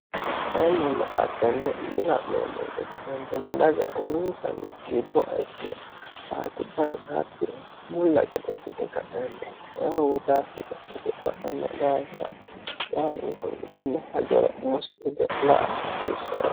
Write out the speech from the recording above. tainnilla'attenne lila'nee moyite kaentine daga uliinsanni gibboa ikkiri faarkubbansaatti bulla gadecite ka'enti wodaafitakkite ba'anno daasira baalun kullitinne hajoro musitu ge'la a hasiissane